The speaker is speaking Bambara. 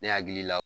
Ne hakili la